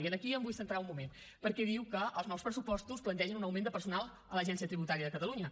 i aquí em vull centrar un moment perquè diu que els nous pressupostos plantegen un augment de personal a l’agència tributària de catalunya